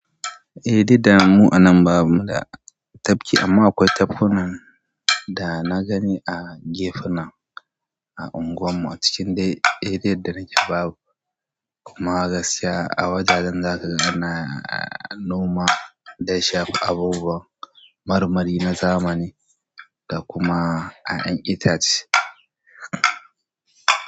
Eh duk da mu anan bamu da tafki amma akwai tafkunan da na gani a gefuna a unguwan mu ackin dai arean da nake babu kuma gaskiya a wajajen za ka ga ana noma da ya shafi abubuwan marmari na zamani da kuma 'yan yan itace.